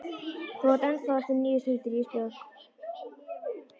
Þú átt ennþá eftir níu stundir Ísbjörg.